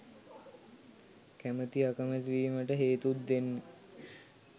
කැමති අකමැති වීමට හේතුත් දෙන්න.